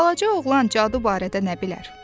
Balaca oğlan cadu barədə nə bilər?